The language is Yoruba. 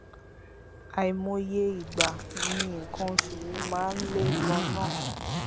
àìmọye ìgbà ni nǹkan oṣù mi máa ń le ganan